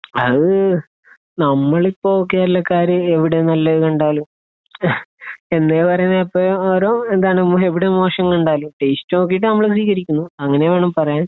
അത് നമ്മളിപ്പോ കേരളക്കാര് എവിടെ നല്ലതുകണ്ടാലും എന്താ പറയുന്നേ ഇപ്പൊ എവിടെ മോശം കണ്ടാലും ടേസ്റ്റ് നോക്കിയിട്ട് നമ്മൾ സ്വീകരിക്കുന്നു. അങ്ങനെ വേണം പറയാൻ.